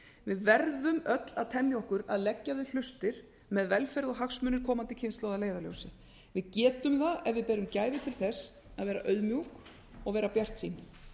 við verðum öll að temja okkur að leggja við hlustir miðað við velferð og hagsmuni komandi kynslóðar að leiðarljósi við getum það ef við berum gæfu til þess að vera auðmjúk og vera bjartsýn